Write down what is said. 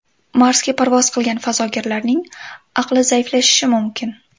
Marsga parvoz qilgan fazogirlarning aqli zaiflashishi mumkin.